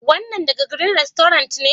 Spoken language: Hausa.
Wainan daga " green restaurants " ne?